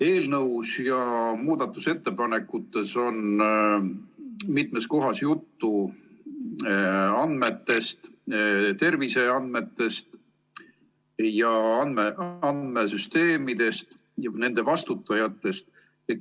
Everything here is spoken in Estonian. Eelnõus ja muudatusettepanekutes on mitmes kohas juttu andmetest, terviseandmetest, ning andmesüsteemidest ja nende eest vastutajatest.